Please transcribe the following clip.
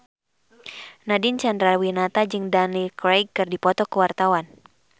Nadine Chandrawinata jeung Daniel Craig keur dipoto ku wartawan